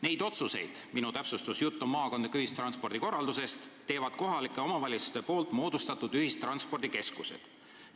Neid otsuseid teevad kohalike omavalitsuste poolt moodustatud ühistranspordikeskused.